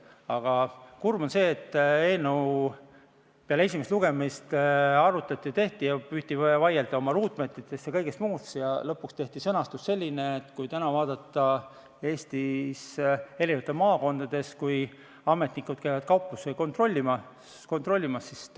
Aga kurb on see, et kui eelnõu peale esimest lugemist arutati ja püüti vaielda oma ruutmeetrite ja kõige muu üle, siis lõpuks tehti sõnastus selline, mida praegu tõlgendatakse mõnes maakonnas ühtpidi ja mõnes teises täpselt teistpidi.